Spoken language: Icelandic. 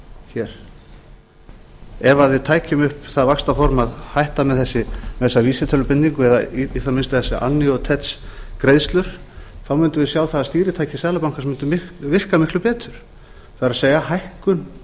hér ef við tækjum upp það vaxtaform að hætta með þessa vísitölubindingu eða í það minnsta ef þessar annuitets greiðslur mundum við sjá að stýritæki seðlabankans mundu virka miklu betur það er hækkun